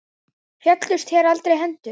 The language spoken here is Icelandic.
Féllust þér aldrei hendur?